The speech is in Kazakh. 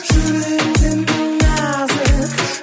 жүрегің сенің нәзік